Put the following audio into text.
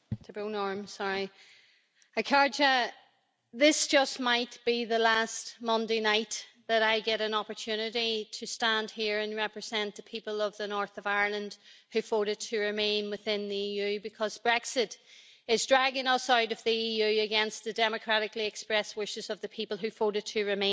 Madam President, this just might be the last Monday night that I get an opportunity to stand here and represent the people of the north of Ireland who voted to remain within the EU, because Brexit is dragging us out of the EU against the democratically expressed wishes of the people who voted to remain.